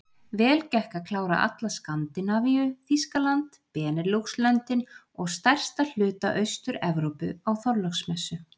Vel gekk að klára alla Skandinavíu, Þýskaland, Beneluxlöndin og stærsta hluta AusturEvrópu á Þorláksmessu.